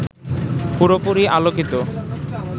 পুরোপুরি আলোকিত